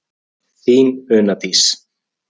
Þín Una Dís.